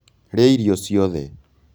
Rĩa irio ciothe